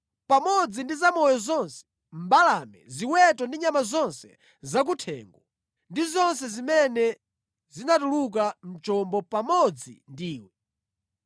pamodzi ndi zamoyo zonse, mbalame, ziweto ndi nyama zonse za kuthengo, ndi zonse zimene zinatuluka mʼchombo pamodzi ndi iwe.